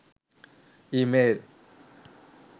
e mail